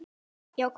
Já, hvað?